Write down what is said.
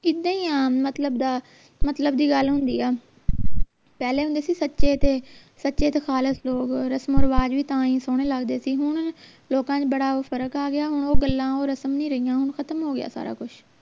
ਇੱਦਾ ਹੀ ਆ ਮਤਲਬ ਦਾ ਮਤਲਬ ਦੀ ਗੱਲ ਹੁੰਦੀ ਆ ਪਹਿਲੇ ਹੁੰਦੇ ਸੀ ਸੱਚੇ ਤੇ ਸੱਚੇ ਤੇ ਖਾਲਿਸ ਲੋਗ ਰਸਮੋਂ ਰਿਵਾਜ ਵੀ ਤਾਂ ਹੀ ਸੋਹਣੇ ਲਗਦੇ ਸੀ ਹੁਣ ਲੋਕਾਂ ਚ ਬੜਾ ਫਰਕ ਆ ਗਿਆ ਹੁਣ ਉਹ ਗੱਲਾਂ ਉਹ ਰਸਮ ਨਹੀਂ ਰਹੀਆਂ ਖਤਮ ਹੋ ਗਿਆ ਸਾਰਾ ਕੁਸ਼